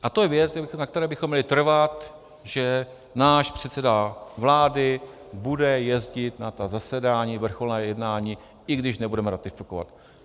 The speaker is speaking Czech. A to je věc, na které bychom měli trvat, že náš předseda vlády bude jezdit na ta zasedání, vrcholná jednání, i když nebudeme ratifikovat.